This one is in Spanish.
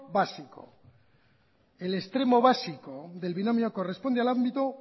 básico el extremos básico del binomio corresponde al ámbito